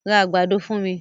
Ra àgbàdo fún mi!